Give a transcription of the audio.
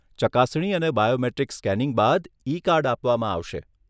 ચકાસણી અને biometric scanning બાદ ઈ કાર્ડ આપવામાં આવશે.